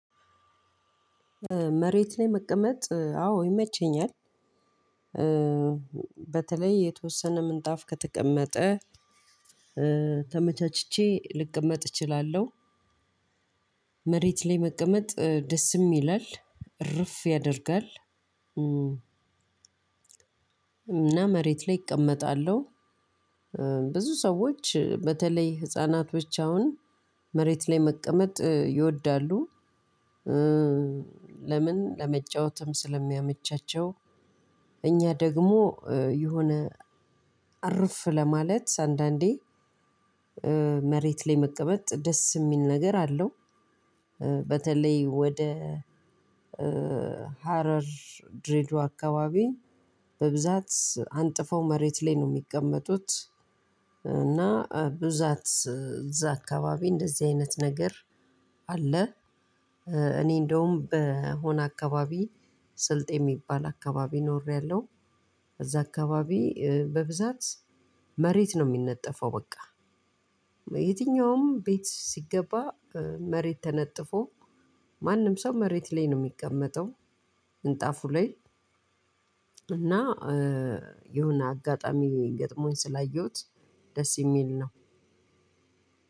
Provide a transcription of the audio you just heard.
መሬት ላይ መቀመጥ አዎ ይመቸኛል። በተለይ የተወሰነ ምንጣፍ ከተቀመጠ ተመቻችቼ ልቀመጥ እችላለሁ። መሬት ላይ መቀመጥ ደስም ይላል እረፍ ያደርጋል። እና መሬት ላይ እቀመጣለሁ። ብዙ ሰዎች በተለይ ህፃናቶች አሁን መሬት ላይ መቀመጥ ይወዳሉ። ለምን ለመጫወትም ስለሚያመቻቸው። እኛ ደግሞ የሆነ እርፍ ለማለት አንዳንዴ መሬት ላይ መቀመጥ ደስ የሚል ነገር አለው። በተለይ ወደ ሀረር ድሬድዋ አካባቢ በብዛት አንጥፈው መሬት ላይ ነው የሚቀመጡት። እና ብዛት እዛ አካባቢ እንደዚህ አይነት ነገር አለ። እኔ እንደውም በሆነ አካባቢ ስልጤ የሚባል አካባቢ ኖሬያለሁ። እዛ አካባቢ በብዛት መሬት ነው የሚነጠፈው በቃ። የትኛውም ቤት ሲገባ መሬት ተነጥፎ ማንም ሰው መሬት ላይ ነው የሚቀመጠው። ምንጣፉ ላይ እና የሆነ አጋጣሚ ገጥሞኝ ስላየሁት ደስ የሚል ነው።